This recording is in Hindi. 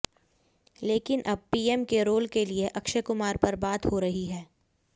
लेकिन अब पीएम के रोल के लिए अक्षय कुमार पर बात हो रही है